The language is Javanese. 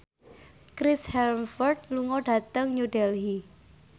Chris Hemsworth lunga dhateng New Delhi